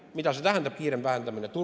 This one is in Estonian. " Mida see tähendab – kiirem vähendamine?